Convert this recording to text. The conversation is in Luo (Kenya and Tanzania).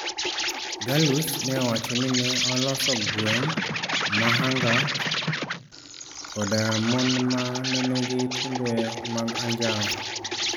Galus ne owacho ni ne oloso gweng ma Angark koda mon ma ne nigi timbe mag anjawo.